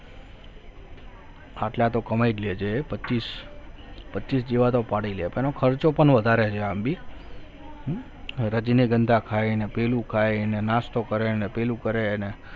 આટલા તો કમાઈ લેજે પચીસ પચીસ જેવા પાડી પણ એનો ખર્ચો પણ વધારે છે આમ બી રજનીગંદા ખાઈને પેલું ખાય એને નાસ્તો કરીને પેલું કરેને